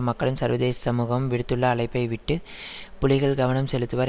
மக்களும் சர்வதேச சமூகமும் விடுத்துள்ள அழைப்பையிட்டு புலிகள் கவனம் செலுத்துவர்